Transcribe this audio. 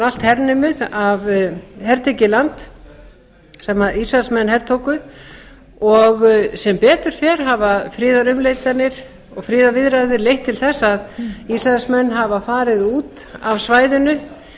allt hertekið land sem ísraelsmenn hertóku en sem betur fer hafa friðarumleitanir og friðarviðræður leitt til að ísraelsmenn hafa farið út af svæðinu